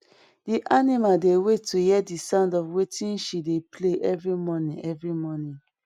di animal dey wait to hear di sound of wetin she dey play every morning every morning